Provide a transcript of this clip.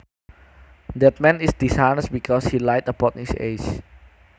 That man is dishonest because he lied about his age